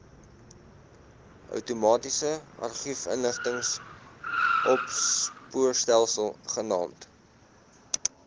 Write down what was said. outomatiese argiefinligtingsopspoorstelsel genaamd